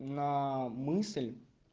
на мысль